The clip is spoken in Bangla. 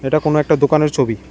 এটা কোনো একটা দোকানের ছবি।